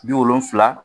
Bi wolonfila